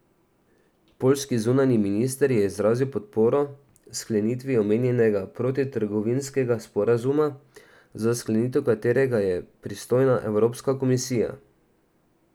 Poljski zunanji minister je izrazil podporo sklenitvi omenjenega prostotrgovinskega sporazuma, za sklenitev katerega je pristojna Evropska komisija.